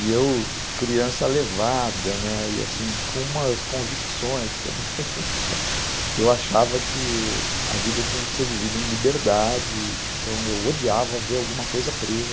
E eu, criança levada, né, e assim, com umas convicções também, eu achava que a vida tinha que ser vivida em liberdade, então eu odiava ver alguma coisa presa.